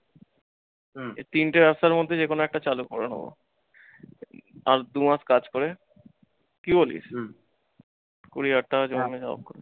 এই তিনটে রাস্তার মধ্যে যে কোনও একটা চালু করে নেবো। আর দুমাস কাজ করে, কি বলিস? কুড়ি হাজার টাকা জমিয়া